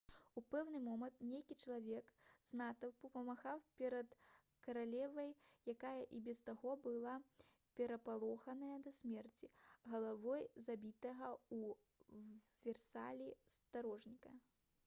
у пэўны момант нейкі чалавек з натоўпу памахаў перад каралевай якая і без таго была перапалоханая да смерці галавой забітага ў версалі стражніка